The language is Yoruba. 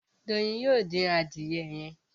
Doyin yóò dín Adìyẹ yén.